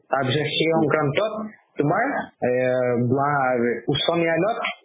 তাৰ পিছত সেই সংক্ৰান্তত আমাৰ এ বা উচ্চ ন্যায়ালয়ত